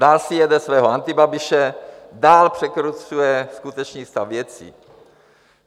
Dál si jede svého Antibabiše, dál překrucuje skutečný stav věcí.